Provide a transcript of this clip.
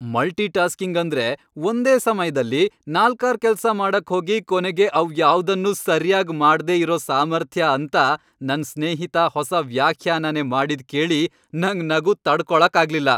Multi tasking ಅಂದ್ರೆ, ಒಂದೇ ಸಮಯ್ದಲ್ಲಿ ನಾಲ್ಕಾರ್ ಕೆಲ್ಸ ಮಾಡಕ್ಹೋಗಿ ಕೊನೆಗೆ ಅವ್ಯಾವ್ದನ್ನೂ ಸರ್ಯಾಗ್ ಮಾಡ್ದೇ ಇರೋ ಸಾಮರ್ಥ್ಯ ಅಂತ ನನ್ ಸ್ನೇಹಿತ ಹೊಸ ವ್ಯಾಖ್ಯಾನನೇ ಮಾಡಿದ್ ಕೇಳಿ ನಂಗ್ ನಗು ತಡ್ಕೊಳಕ್ಕಾಗ್ಲಿಲ್ಲ.